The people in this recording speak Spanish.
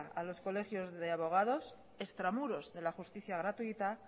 a los colegios de abogados extramuros de la justicia gratuita